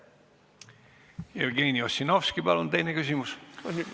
Jevgeni Ossinovski, palun, teine küsimus!